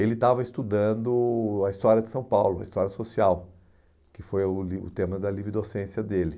Ele estava estudando a história de São Paulo, a história social, que foi o tema da livre docência dele.